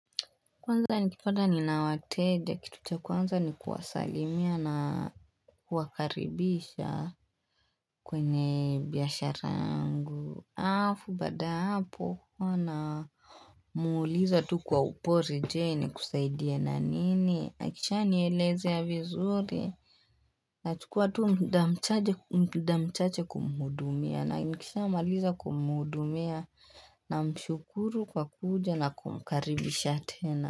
Kwanza nikipata nina wateja, kitu cha kwanza ni kuwasalimia na kuwakaribisha kwenye biashara yangu alafu baada ya hapo. Namuliza tu kwa upole je? Nikusaidie na nini, akisha nielezea vizuri Nachukua tu muda mchache kumuhudumia na nikishamaliza kumuhudumia na mshukuru kwa kuja na kumkaribisha tena.